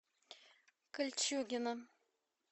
кольчугино